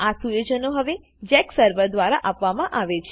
આ સુયોજનો હવે જેક સર્વર દ્વારા આપવામા આવે છે